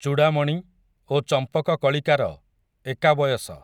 ଚୂଡ଼ାମଣି, ଓ ଚମ୍ପକକଳିକାର, ଏକା ବୟସ ।